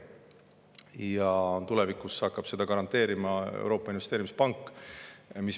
Tulevikus hakkab seda garanteerima Euroopa Investeerimispank.